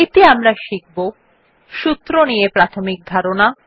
এতে আমরা শিখব সূত্র নিয়ে প্রাথমিক ধারণা